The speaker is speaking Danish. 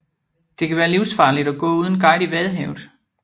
Det kan være livsfarligt at gå uden guide i Vadehavet